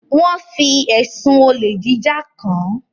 Wón fí ẹsùn Olè jíjà kán.